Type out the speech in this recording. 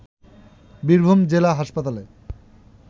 বীরভূম জেলা হাসপাতালে